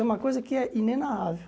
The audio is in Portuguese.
É uma coisa que é inenarrável.